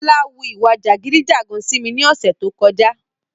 Bọ́lá wu ìwà jàgídí-jàgan sí mi ní ọ̀sẹ́ tó kọjá.